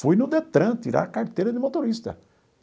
Fui no DETRAN tirar a carteira de motorista.